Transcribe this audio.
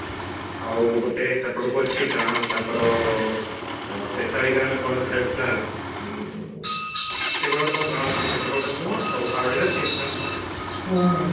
ଆଉ ଗୋଟେ ସେପଟକୁ ଅଛି ଗାଁ ତାଙ୍କର ଆଁ କଣ ସେଇଟା ନାଁ ଆଁ ସେଇଭଳିଆ କଣ ଗୋଟେ ଗାଁ ଅଛି ସେପଟକୁ ଗୋଟେ ମୁଁ ଆରଡି କା ମୁହଁ